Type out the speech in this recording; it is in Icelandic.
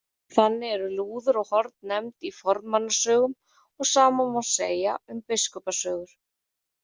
Þannig eru lúður og horn nefnd í fornmannasögum og sama má segja um Biskupasögur.